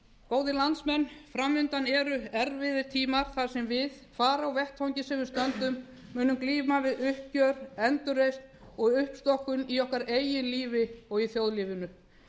góðir landsmenn fram undan eru erfiðar tímar þar sem við hvar á vettvangi sem við stöndum munum glíma við uppgjör endurreisn og uppstokkun í okkar eigin lífi og í þjóðlífinu